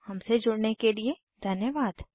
हमसे जुड़ने के लिए धन्यवाद